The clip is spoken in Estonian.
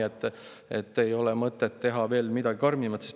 Seetõttu ei ole mõtet teha midagi veel karmimat.